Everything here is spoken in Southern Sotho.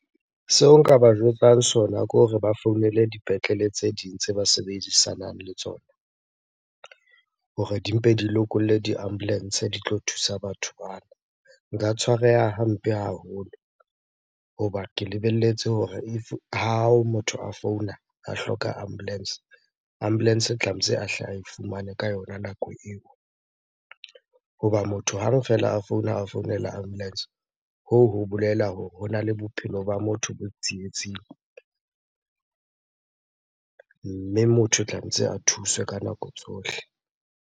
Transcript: Seo nka ba jwetsang sona ke hore ba founele dipetlele tse ding tse ba sebedisanang le tsona hore di mpe di lokolle di-ambulance di tlo thusa batho bana. Nka tshwareha hampe haholo hoba ke lebelletse hore if, ha motho a founa a hloka ambulance, ambulance tlametse a hle ae fumane ka yona nako eo. Hoba motho hang fela a founa a founela ambulence, hoo ho bolela hore hona le bophelo ba motho bo tsietsing. Mme motho o tlametse a thuswe ka nako tsohle.